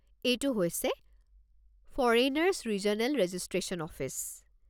এইটো হৈছে foreigners regional registration office.